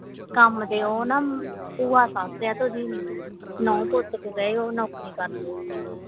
ਕੰਮ ਤੇ ਉਹ ਨਾ ਭੂਆ ਸੱਸ ਆਂ ਨੌਂਹ ਪੁੱਤ ਤੇ ਗਏ ਉਹ ਨੌਕਰੀ ਕਰਦੇ ਓਥੇ